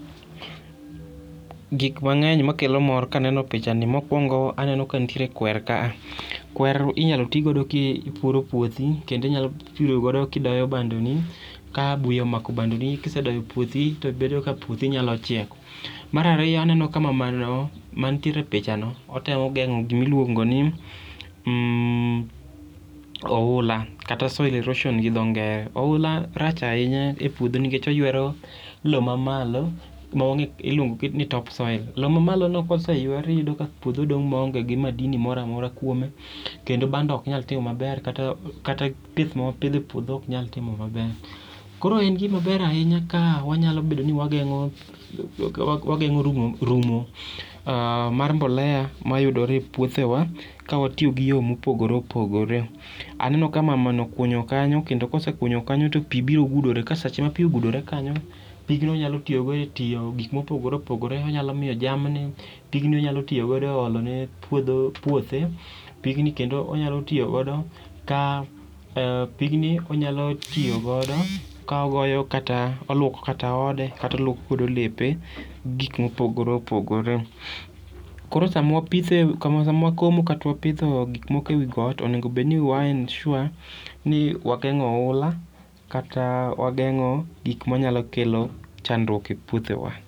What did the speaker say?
Gik mangeny ma kelo mor ka aneno picha ni. Mokuongo aneno kwer kaa kwer inyalo ti go ki ipuro puothi kendo inyalo puro godo ki idoyo bando ni ka buya omako bando ni kisedoyo puothi to bedo ka puothi nyalo chiek. Mar ariyo, aneno ka mama no ma nitiere e picha no temo gero gi ma iluongo ni oula kata soil erosion gi dho ngere. Oula rach ainya e puodho nikech oywero loo ma malo ma iluongo gi ngere ni top soil.lo ma malo ko se ywe to iyudo ni puodho dong' ma onge gi madini moro amora kuome kendo bando ok nyal chiek ma ber kendo gik m a nitie e puodho ok nyal timo ma ber. Koro en gi ma ber ahinya ka wagengo wagengo romo mar mbolea ma yudore e puothe wa ka watiyo gi yore ma opogore opogore. Aneno ka mama no okunyo kanyo ka osekunyo kanyo to pi biro gudore to sa ma pi ogudore kanyo pigno onyalo tiyo go e gik ma opogore opogore onyalo miyo jamni pigni onyalo tiyo godo e olo ne puothe, pigni kendo onyalo toyi ja pigni onyalo tiyo godo ka oluoko kata ode kata oluoko godo lepe gik ma opogore opogore. Koro sa ma wapithe sa ma wakomo kata wapudhe gik moko e got onego bed ni ewa ensure ni wagengo oula kata wagengo gik ma nyalo kelo chandruok e puothe wa.